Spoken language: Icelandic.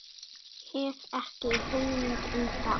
Hef ekki hugmynd um það.